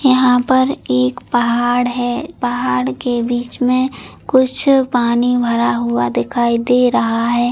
यहाँ पर एक पहाड़ है। पहाड़ के बीच में कुछ पानी भरा हुआ दिखाई दे रहा है।